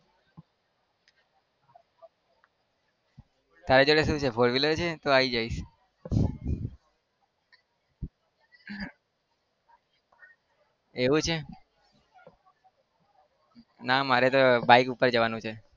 તારી જોડે શું છે? four wheeler છે તો આવી જઈશ. એવું છે? ના મારે તો bike ઉપર જવાનું છે.